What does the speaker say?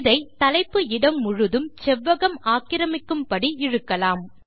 இதை தலைப்பு இடம் முழுதும் செவ்வகம் ஆக்கிரமிக்கும்படி இழுக்கலாம்